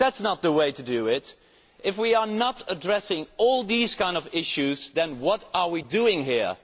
That is not the way. If we are not addressing all these kinds of issues, then what are we doing here?